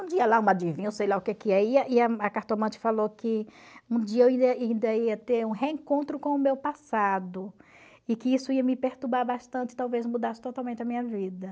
um dia sei lá o que e a cartomante falou que um dia eu ainda ainda ia ter um reencontro com o meu passado, e que isso ia me perturbar bastante, talvez mudasse totalmente a minha vida.